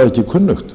það er